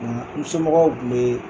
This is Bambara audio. Nsomɔgɔw tun bɛ